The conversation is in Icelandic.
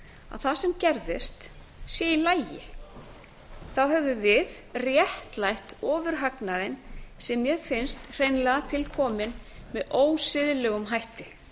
að það sem gerðist sé í lagi þá höfum við réttlætt ofurhagnaðinn sem mér finnst hreinlega tilkominn með ósiðlegum hætti